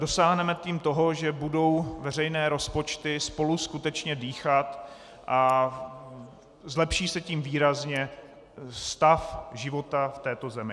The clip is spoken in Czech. Dosáhneme tím toho, že budou veřejné rozpočty spolu skutečně dýchat a zlepší se tím výrazně stav života v této zemi.